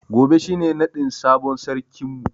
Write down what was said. Gobe shi ne naɗin sabon sarkin mu.